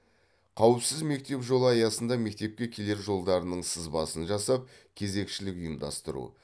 қауіпсіз мектеп жолы аясында мектепке келер жолдарының сызбасын жасап кезекшілік ұйымдастыру